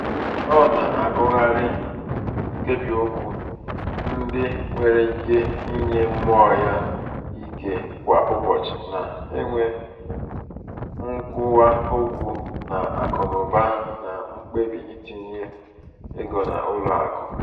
ọ na-agụgharị nkebiokwu ndị nwéré ike inye mmụọ um ya um ike kwà ụbọchị na- enwe nkwuwaokwu n'akụnaụba na mkpebi itinye ego n' ụlọ akụ.